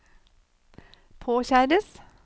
påkjæres